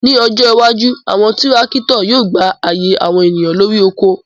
Ni ojo iwaju, awọn tirakitọ yóò gba aaye awọn eniyan lori oko